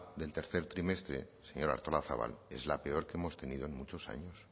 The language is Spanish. del tercer trimestre señora artolazabal es la peor que hemos tenido en muchos años